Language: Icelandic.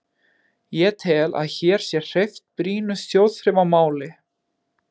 Ég tel, að hér sé hreyft brýnu þjóðþrifamáli.